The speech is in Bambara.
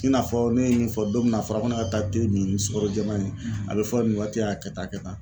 I n'a fɔ ne ye nin fɔ don min na a fɔra ko ne ka taa te min sukaro jɛman in ye a bɛ fɔ nin waati la, a kɛ tan a kɛ tan.